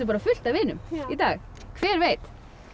bara fullt af vinum í dag hver veit